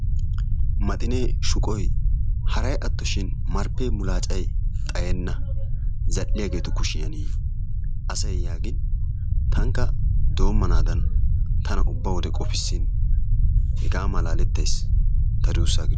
maxinee shuqqoy haray attoshin marpee mulaacay xayenna zal'iyageetu kushiyan asay yaagin tankka doomanaadan tana ubba wode qoppisin tankka hegaa malaalettays.